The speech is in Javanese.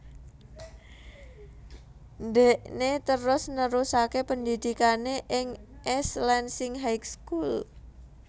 Ndhekné terus nerusaké pendhidhikané ing East Lansing High School